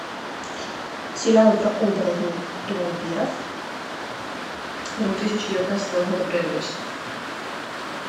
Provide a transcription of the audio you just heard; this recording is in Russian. сериалы про оборотней и вампиров две тысячи девятнадцатого года производства